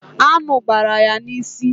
Aṅụ gbara ya n'isi